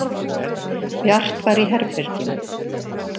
Bjart var í herberginu.